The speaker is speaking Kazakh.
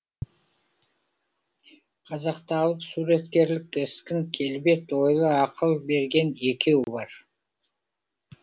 қазақта алып суреткерлік кескін келбет ойлы ақыл берген екеу бар